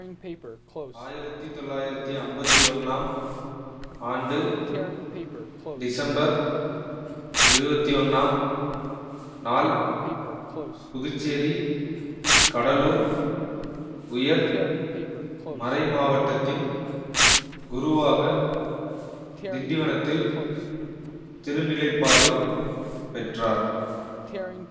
ஆயிரத்தி தொள்ளாயிரத்தி அம்பத்தி ஒன்னாம் ஆண்டு டிசம்பர் இருபத்தி ஒன்னாம் நாள் புதுச்சேரிகடலூர் உயர் மறைமாவட்டத்தின் குருவாக திண்டிவனத்தில் திருநிலைப்பாடு பெற்றார்